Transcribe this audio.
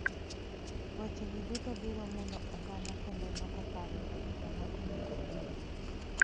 Wechegi duto biro mulo oganda kendo loko paro kuom joma onego oyier.